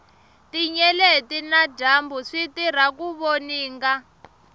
tinyeleti na dyambu switirha ku voninga